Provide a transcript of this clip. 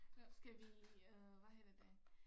Nåh skal vi øh hvad hedder det